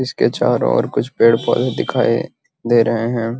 इसके चारो और कुछ पेड़ पौधे दिखाई दे रहे हैं |